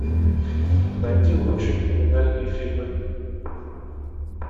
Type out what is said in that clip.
найди лучшие криминальные фильмы